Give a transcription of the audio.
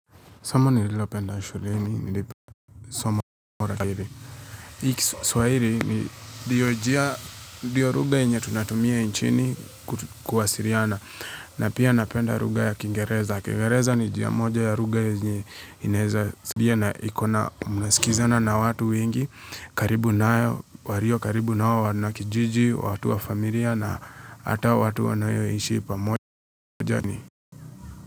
Somo nililopenda shuleni, nilipa soma kwa kiri. Hiki kiswahili ni ndiyo njia, ndiyo lugha yenye tunatumia nchini kuwasiriana. Na pia napenda lugha ya kingereza. Kingereza ni njia moja ya lugha yenye inayeza sabia na ikona mnasikizana na watu wengi. Karibu nayo, walio karibu nao, wanakijiji, watu wa familia na hata watu wanyoishii pamoja ni.